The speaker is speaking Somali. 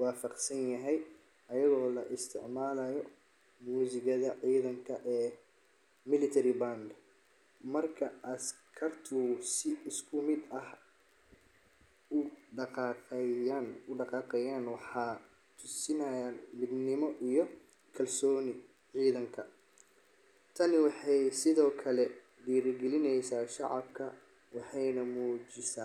waafaqsan yahay, iyadoo la isticmaalayo muusikada ciidamada ee military band. Marka askartu si isku mid ah u dhaqaaqayaan, waxay tusinayaan midnimo iyo kalsoonida ciidanka. Tani waxay sidoo kale dhiirigelisaa shacabka, waxayna muujisaa.